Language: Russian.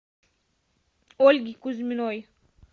ольги кузьминой